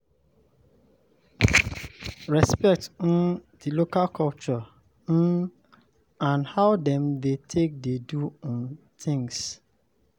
Respect um di local culture um and how dem dem take dey do um things